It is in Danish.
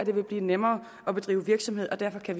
det vil blive nemmere at drive virksomhed og derfor kan